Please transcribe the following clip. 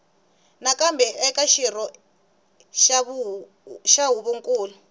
nakambe eka xirho xa huvonkulu